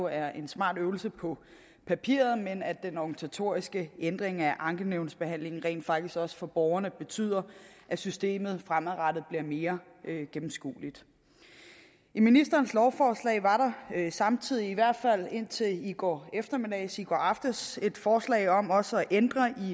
er en smart øvelse på papiret men at den organisatoriske ændring af ankenævnsbehandlingen rent faktisk også for borgerne betyder at systemet fremadrettet bliver mere gennemskueligt i ministerens lovforslag var der samtidig i hvert fald indtil i går eftermiddags eller i går aftes et forslag om også at ændre